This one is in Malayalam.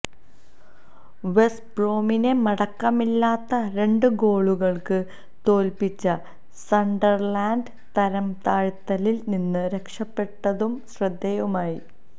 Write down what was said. വെസ്ബ്രോമിനെ മടക്കമില്ലാത്ത രണ്ട് ഗോളുകള്ക്ക് തോല്പ്പിച്ച് സണ്ടര്ലാന്ഡ് തരംതാഴ്ത്തലില് നിന്ന് രക്ഷപ്പെട്ടതും ശ്രദ്ധേയമായി